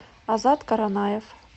азат каранаев